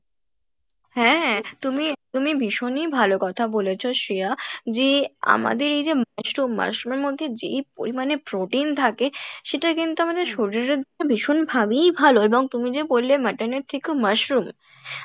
হ্যাঁ হ্যাঁ তুমি তুমি ভীষণই ভালো কথা বলেছো শ্রেয়া যে আমাদের এইযে mushroom mushroom এর মধ্যে যেই পরিমাণে protein থাকে সেটা কিন্তু আমাদের শরীরের জন্য ভীষণ ভাবেই ভালো এবং তুমি যে বললে mutton এর থেকেও mushroom,